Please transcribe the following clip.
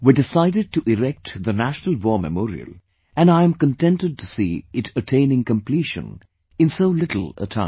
We decided to erect the National War Memorial and I am contented to see it attaining completion in so little a time